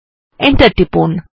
enter টিপুন